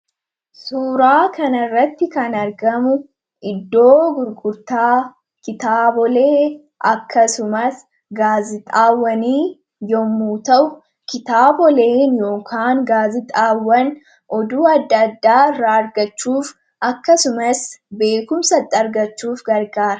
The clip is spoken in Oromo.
suuraa kan irratti kan argamu iddoo gurgurtaa kitaabolee akkasumas gaazixaawwanii yommuu ta'u kitaaboleen yookaan gaazixaawwan oduu adda addaa irraa argachuuf akkasumas beekumsaxi argachuuf gargaara